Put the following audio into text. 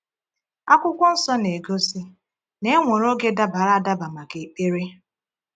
Akwụkwọ Nsọ na-egosi na e nwere oge dabara adaba maka ekpere.